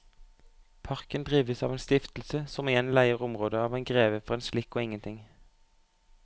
Parken drives av en stiftelse som igjen leier området av en greve for en slikk og ingenting.